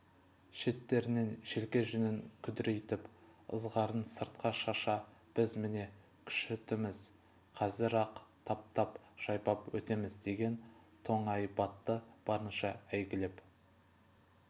шеттерінен желке жүнін күдірейтп ызғарын сыртқа шаша біз міне күшітіміз қазір-ақ таптап жайпап өтеміз деген тоңайбатты барынша әйгілеп